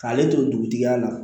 K'ale to dugutigiya la